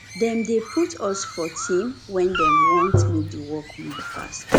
dem dey put us for team wen dem want make di work move fast